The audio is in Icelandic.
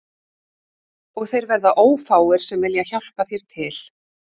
Og þeir verða ófáir sem vilja hjálpa þér til